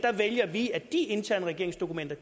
vælger vi at de interne regeringsdokumenter